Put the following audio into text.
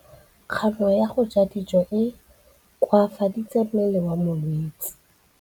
Kganô ya go ja dijo e koafaditse mmele wa molwetse.